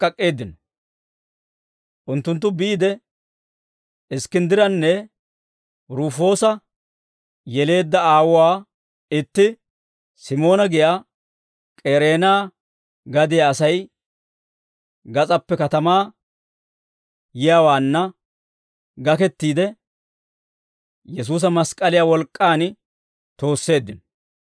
Unttunttu biide, Iskkinddiranne Rufoosa yeleedda aawuwaa, itti Simoona giyaa K'ereena gadiyaa asay, gas'aappe katamaa yiyaawaanna gakettiide, Yesuusa mask'k'aliyaa wolk'k'aan toosseeddino.